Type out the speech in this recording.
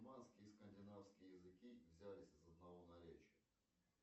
и скандинавские языки взялись из одного наречия